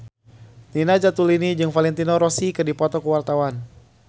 Nina Zatulini jeung Valentino Rossi keur dipoto ku wartawan